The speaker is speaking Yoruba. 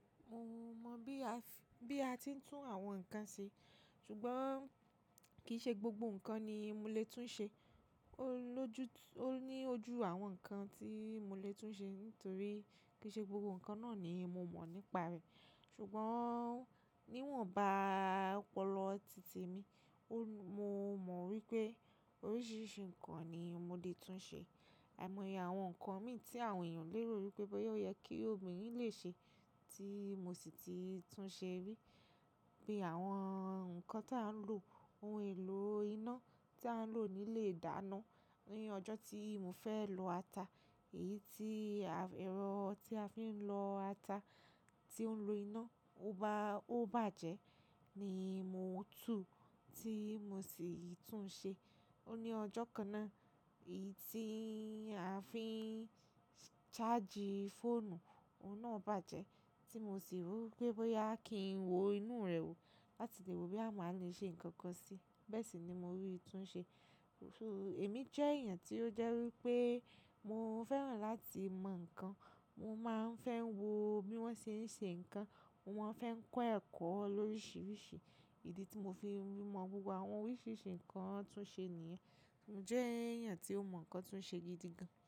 Mo mọ bí a ti ń tún àwọn nǹkan ṣe, ṣùgbọ́n kì í ṣe gbogbo nǹkan ni mo lè tún ṣe. Ó ní ojú àwọn nǹkan tí mo lè tún ṣe nítorí kì í ṣe gbogbo nǹkan náà ni mo mọ̀ nípa rẹ̀. Ṣùgbọ́n níwọ̀nbá ọpọlọ tìtemi mi, mo mọ̀ wípé oríṣiríṣi nǹkan ni mo le tún ṣe. Àìmọye àwọn nǹkan mi tí àwọn èèyàn o lè rò wípé bóyá ó yẹ kí obìnrin lè ṣe tí mo sì ti tún ṣe rí, bí àwọn nǹkan tí à ń lò, ohun èlò iná tí à ń lò ní ilé idáná. Ní ọjọ́ tí mo fẹ́ lo ata, èyí tí ẹrọ tí a fi ń lo ata tí ó ń lo iná, ó bàjẹ́ ni mo túu tí mo sì tún-un ṣe. Ó ní ọjọ́ kan náà, èyí tí a fi ń ṣáàjì fóònù, óun náà bàjẹ́ tí mo sì rò wípé bóyá kì ń wo inú rẹ̀ wò láti lè wo boya máa le ṣe nǹkan kan síi. Bẹ́ẹ̀ sì ni mo rí tún ṣe. Ẹ̀mí jẹ́ èèyàn tí ó jẹ́ wípé mo fẹ́ràn láti mọ nǹkan, mo máa ń fẹ́ wo bí wọ́n ṣe ń ṣe nǹkan, mo máa ń fẹ́ kọ́ ẹ̀kọ́ lóríṣiríṣi ìdí tí mo fi mọ gbogbo àwọn oríṣiríṣi nǹkan tún ṣe nìyẹn. Mo jẹ́ èèyàn tí ó mọ nǹkan tún ṣe gidi gan.